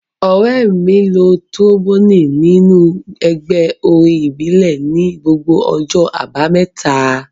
Ọ̀rẹ́ mi lo tíróḿbònì nínú ẹgbẹ́ orin ìbílẹ̀ ní gbogbo ọjọ́ àbámẹ́ta